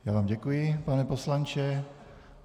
Já vám děkuji, pane poslanče.